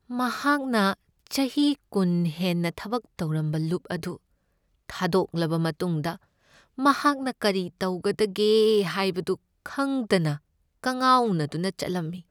ꯃꯍꯥꯛꯅ ꯆꯍꯤ ꯀꯨꯟ ꯍꯦꯟꯅ ꯊꯕꯛ ꯇꯧꯔꯝꯕ ꯂꯨꯞ ꯑꯗꯨ ꯊꯥꯗꯣꯛꯂꯕ ꯃꯇꯨꯡꯗ, ꯃꯍꯥꯛꯅ ꯀꯔꯤ ꯇꯧꯒꯗꯒꯦ ꯍꯥꯏꯕꯗꯨ ꯈꯪꯗꯅ ꯀꯉꯥꯎꯅꯗꯨꯅ ꯆꯠꯂꯝꯃꯤ ꯫